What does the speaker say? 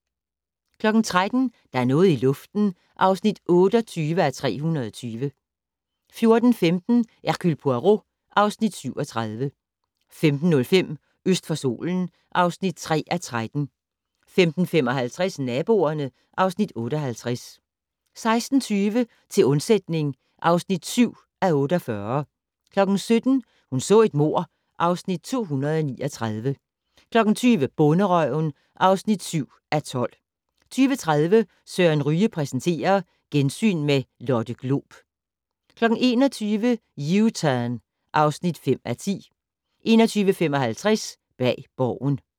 13:00: Der er noget i luften (28:320) 14:15: Hercule Poirot (Afs. 37) 15:05: Øst for solen (3:13) 15:55: Naboerne (Afs. 58) 16:20: Til undsætning (7:48) 17:00: Hun så et mord (Afs. 239) 20:00: Bonderøven (7:12) 20:30: Søren Ryge præsenterer - gensyn med Lotte Glob 21:00: U-Turn (5:10) 21:55: Bag Borgen